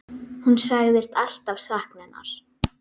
Hún sagðist alltaf sakna hennar.